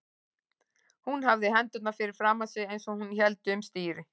Hún hafði hendurnar fyrir framan sig eins og hún héldi um stýri.